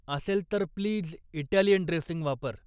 असेल तर please Italian dressing वापर.